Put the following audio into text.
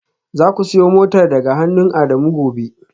Zaku siyo motar daga hannun Adamu gobe